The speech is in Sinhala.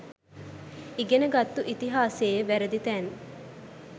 ඉගෙන ගත්තු ඉතිහාසයේ වැරදි තැන්